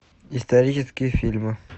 исторические фильмы